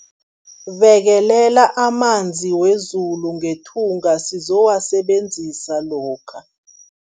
Bekelela amanzi wezulu ngethunga sizowasebenzisa lokha.